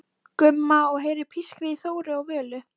Gumma og heyrir pískrið í Þóru og Völu.